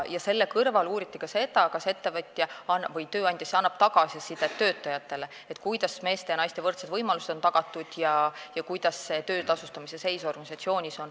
Selle kõrval uuriti ka seda, kas tööandja annab töötajatele tagasisidet, kuidas on naistele ja meestele tagatud võrdsed võimalused ning kuidas töötasustamise seis organisatsioonis on.